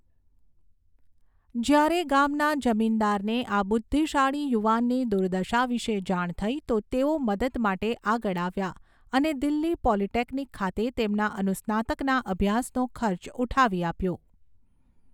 જ્યારે ગામના જમીનદારને આ બુદ્ધિશાળી યુવાનની દુર્દશા વિશે જાણ થઈ તો તેઓ મદદ માટે આગળ આવ્યા અને દિલ્હી પોલિટેકનિક ખાતે તેમના અનુસ્નાતકના અભ્યાસનો ખર્ચ ઉઠાવી આપ્યો.